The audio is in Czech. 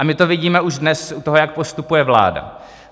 A my to vidíme už dnes u toho, jak postupuje vláda.